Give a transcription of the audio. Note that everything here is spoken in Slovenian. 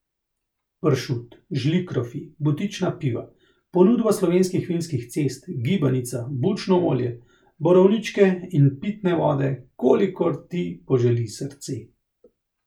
Pršut, žlikrofi, butična piva, ponudba slovenskih vinskih cest, gibanica, bučno olje, borovničke in pitne vode, kolikor ti poželi srce.